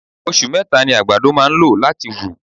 Osù meta ni àgbàdo máà ń lò láti wù.